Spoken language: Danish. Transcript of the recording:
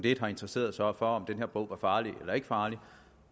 ikke har interesseret sig for om den her bog var farlig eller ikke farlig